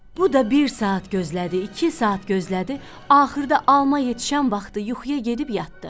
Bu da bir saat gözlədi, iki saat gözlədi, axırda alma yetişən vaxtı yuxuya gedib yatdı.